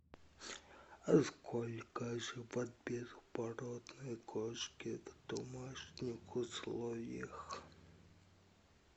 сколько живут беспородные кошки в домашних условиях